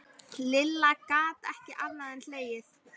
Lilla gat ekki annað en hlegið.